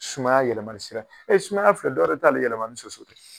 Sumaya yɛlɛli sira e sumaya fɛ dɔwɛrɛ t'ale yɛlɛma ni soso tɛ